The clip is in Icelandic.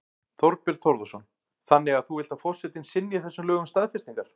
Þorbjörn Þórðarson: Þannig að þú vilt að forsetinn synji þessum lögum staðfestingar?